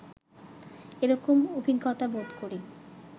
এরকম অভিজ্ঞতা বোধ করি